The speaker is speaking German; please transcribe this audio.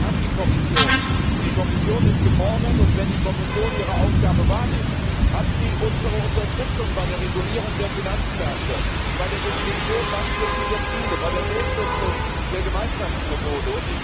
Wir haben die Kommission, und die Kommission ist gefordert. Wenn die Kommission ihre Aufgabe wahrnimmt, hat sie unsere Unterstützung bei der Regulierung der Finanzmärkte, bei der Definition langfristiger Ziele, bei der Durchsetzung der Gemeinschaftsmethode.